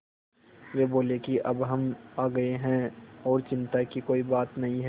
वे बोले कि अब हम आ गए हैं और चिन्ता की कोई बात नहीं है